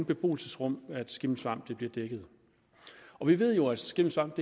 beboelsesrum skimmelsvamp bliver dækket vi ved jo at skimmelsvamp